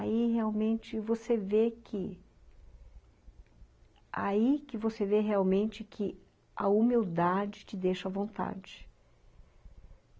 Aí realmente você vê que... Aí que você vê realmente que a humildade te deixa à vontade.